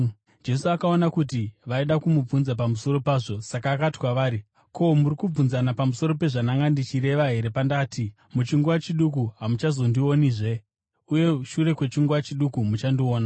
Jesu akaona kuti vaida kumubvunza pamusoro pazvo, saka akati kwavari, “Ko, muri kubvunzana pamusoro pezvandanga ndichireva here pandati, ‘Muchinguva chiduku hamuchazondionizve, uye shure kwechinguva chiduku muchandiona’?